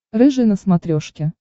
рыжий на смотрешке